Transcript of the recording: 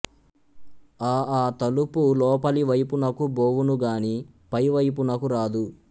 ఆ అతలుపు లోపలి వైపునకు బోవును గాని పైవైపునకు రాదు